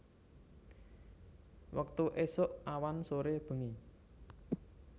Wektu esuk awan sore bengi